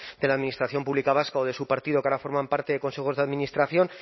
de la administración pública vasca o de su partido que ahora forman parte de consejos de administración